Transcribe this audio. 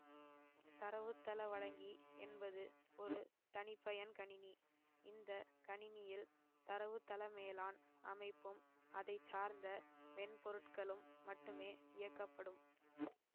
தரவுத்தள வழங்கி என்பது ஒரு தனிப்பயன் கணினி இந்த கணினியில் தரவுத்தளமேலாண் அமைப்பும் அதைச்சார்ந்த மென்பொருட்களும் மட்டுமே இயக்கப்படும்